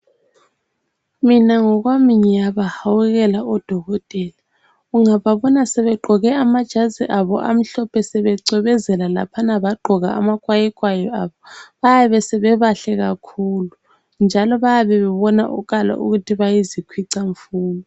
Mina ngokwami ngiyabahawukela odokotela. Ungababona sebegqoke amajazi abo amhlophe sebecwebezela laphana bagqoka amakwayikwayi abo, bayabe sebebahle kakhulu njalo bayabe bebonakala ukuthi bayizikhwicamfundo.